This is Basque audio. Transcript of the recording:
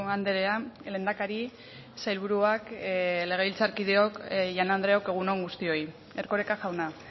andrea lehendakari sailburuak legebiltzarkideok jaun andreok egun on guztioi erkoreka jauna